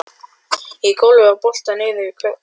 Í gólfið var boltað niður svert málm